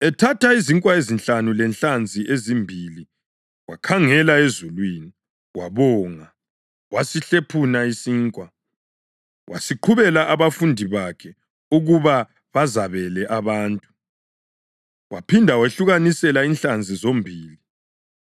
Ethatha izinkwa ezinhlanu lenhlanzi ezimbili wakhangela ezulwini, wabonga, wasehlephuna izinkwa. Waseziqhubela abafundi bakhe ukuba bazabele abantu. Waphinda wabehlukanisela inhlanzi zombili.